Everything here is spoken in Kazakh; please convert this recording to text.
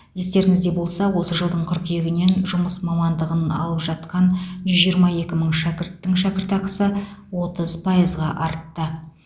естеріңізде болса осы жылдың қыркүйегінен жұмыс мамандығын алып жатқан жүз жиырма екі мың шәкірттің шәкіртақысы отыз пайызға артты